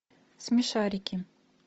смешарики